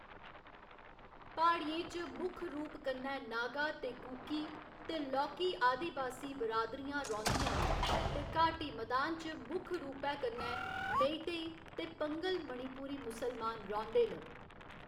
प्हाड़ियें च मुक्ख रूप कन्नै नागा ते कुकी, ते लौह्‌‌‌की आदिबासी बिरादरियां रौंह्‌‌‌दियां न ते घाटी मैदान च मुक्ख रूपै कन्नै मेईतेई ते पंघल मणिपुरी मुसलमान रौंह्‌‌‌दे न।